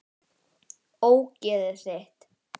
Ógeðið þitt!